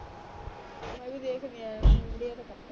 ਮੈਂ ਵੀ ਦੇਖਦੀ ਆ